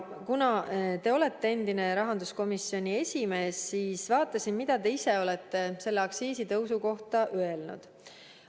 Kuna te olete endine rahanduskomisjoni esimees, siis vaatasin, mida te ise olete selle aktsiisitõusu kohta öelnud.